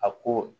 A ko